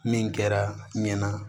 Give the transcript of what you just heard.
Min kɛra ɲɛ